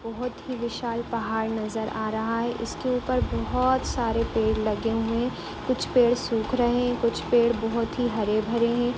बहुत ही विशाल पहाड़ नज़र आ रहा है इसके ऊपर बहुत सारे पेड़ लगे हुए है कुछ पेड़ सूख रहे है कुछ पेड़ बहुत ही हरे-भरे है।